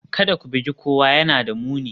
Kada ku bugi kowa, yana da muni